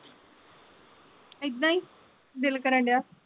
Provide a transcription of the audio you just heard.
ਏਦਾਂ ਹੀ ਦਿਲ ਕਰਨ ਡੇਆ।